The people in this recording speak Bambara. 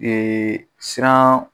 Ee siran